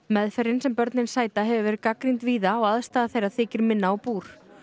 meðferðin sem börnin sæta hefur verið gagnrýnd víða og aðstaða þeirra þykir minna á búr